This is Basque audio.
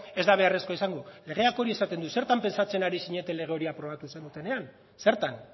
ez da beharrezkoa izango legeak hori esaten du zertan pentsatzen ari zineten lege hori aprobatu zenutenean zertan